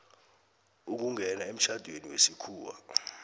ukungena emtjhadweni wesikhuwa